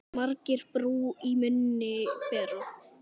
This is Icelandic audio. Margir brú í munni bera.